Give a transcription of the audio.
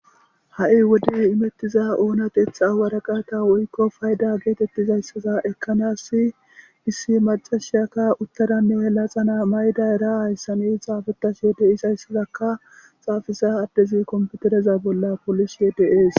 ha7i wodi imettiza oonateeth awaraqata woykko fayda geetettizayssaza ekkanassi issi macashiyakka uttaranne helaxana mayda era hayssani xaafetasyo de is hayssazakka xaafisa addezi komputereza bolla polishe de7ees